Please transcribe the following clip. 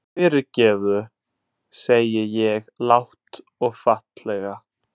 Fyrirgefðu, segi ég lágt og fallega.